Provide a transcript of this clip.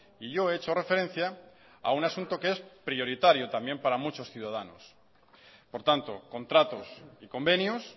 y yo he hecho referencia a un asunto que es prioritario también para muchos ciudadanos por tanto contratos y convenios